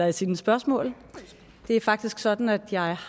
i sine spørgsmål det er faktisk sådan at jeg